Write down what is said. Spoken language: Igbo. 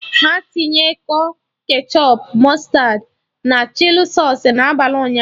Ha tinye kọ ketchọp, mụstardị, na chili sausụ n'abalị ụnyaahụ